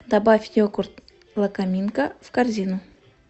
добавь йогурт лакоминка в корзину